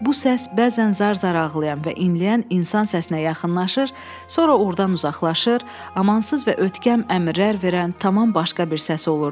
Bu səs bəzən zar-zar ağlayan və inləyən insan səsinə yaxınlaşır, sonra ordan uzaqlaşır, amansız və ötkəm əmrlər verən tamam başqa bir səs olurdu.